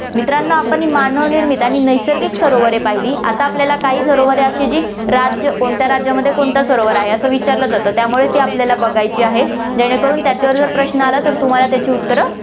मित्रांनो, आपण ही मानव निर्मित आणि नैसर्गिक सरोवरे पाहिली, आता आपल्याला काही सरोवरे अशी जी राज्य, कोणत्या राज्यामध्ये कोणतं सरोवर आहे, असं विचारलं जातं, त्यामुळे ती आपल्याला बघायची आहेत, जेणे करून त्याच्यावर जर प्रश्न आला तर तुम्हाला त्याची उत्तरं